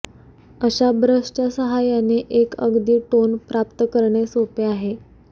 अशा ब्रशच्या साहाय्याने एक अगदी टोन प्राप्त करणे सोपे आहे